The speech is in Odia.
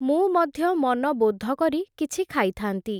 ମୁଁ ମଧ୍ୟ ମନବୋଧ କରି କିଛି ଖାଇଥାନ୍ତି ।